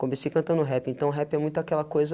Comecei cantando rap, então rap é muito aquela coisa